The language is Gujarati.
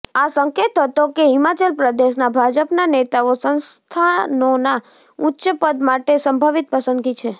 આ સંકેત હતો કે હિમાચલ પ્રદેશના ભાજપના નેતાઓ સંસ્થાનોના ઉચ્ચ પદ માટે સંભવિત પસંદગી છે